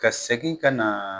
Ka segin ka na